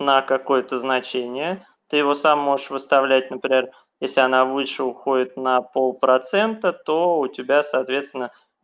на какое-то значение ты его сам можешь выставлять например если она выше уходит на полпроцента то у тебя соответственно